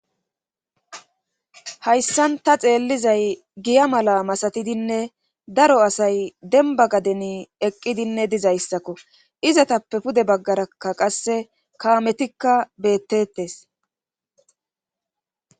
hayssan ta xeellizay giya mala masatidinne daro asay denba gadeni eqqidinne dizayssakko izatappe pude baggarakka qasse kaametikka beettettes